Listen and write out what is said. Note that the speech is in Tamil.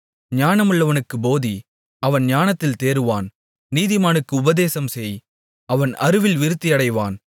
ஞானமுள்ளவனுக்குப் போதி அவன் ஞானத்தில் தேறுவான் நீதிமானுக்கு உபதேசம் செய் அவன் அறிவில் விருத்தியடைவான்